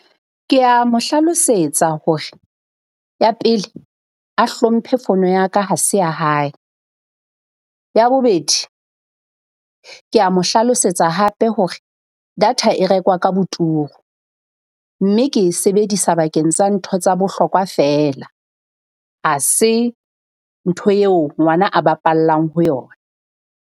Kea mo hlalosetsa hore, ya pele a hlomphe fono ya ka ha se ya hae. Ya bobedi, kea mo hlalosetsa hape hore data e rekwa ka boturu mme ke e sebedisa bakeng sa ntho tsa bohlokwa feela. Ha se ntho eo ngwana a bapallang ho yona.